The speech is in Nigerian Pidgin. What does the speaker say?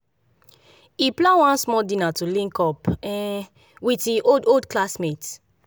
he plan one small dinner to link up um with e old old classmates